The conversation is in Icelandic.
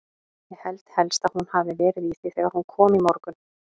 Ég held helst að hún hafi verið í því þegar hún kom í morgun.